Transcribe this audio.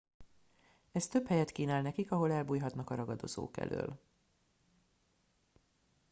ez több helyet kínál nekik ahol elbújhatnak a ragadozók elől